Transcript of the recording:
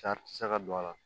Sari tɛ se ka don a la